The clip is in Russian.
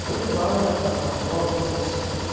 были планы была возможность